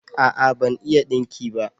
a'a ban iya dinki ba